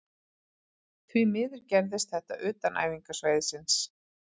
Því miður gerðist þetta utan æfingasvæðisins.